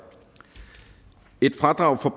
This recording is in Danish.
et fradrag for